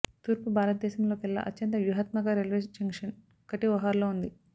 తూర్పు భారతదేశం లోకెల్లా అత్యంత వ్యూహాత్మక రైల్వే జంక్షన్ కటిఒహార్లో ఉంది